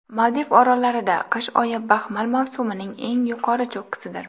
Maldiv orollarida qish oyi baxmal mavsumining eng yuqori cho‘qqisidir.